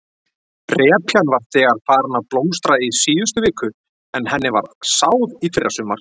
Repjan var þegar farin að blómstra í síðustu viku en henni var sáð í fyrrasumar?